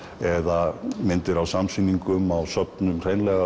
eða myndir á samsýningum á söfnum